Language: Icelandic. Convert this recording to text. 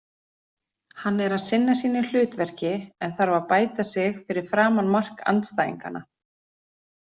Hann er að sinna sínu hlutverki en þarf að bæta sig fyrir framan mark andstæðinganna.